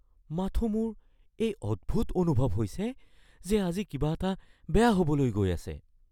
মাথোঁ মোৰ এই অদ্ভুত অনুভৱ হৈছে যে আজি কিবা এটা বেয়া হ'বলৈ গৈ আছে।